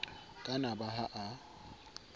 ka na ba ha a